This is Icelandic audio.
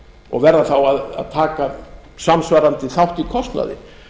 og verða þá að taka samsvarandi þátt í kostnaði